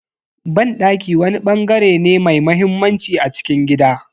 Banɗaki wani bangare ne mai muhimmanci a cikin gida.